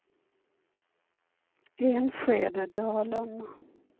Enskededalen